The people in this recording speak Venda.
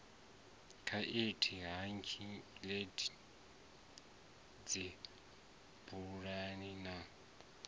khaithi hang gliders dzibaluni na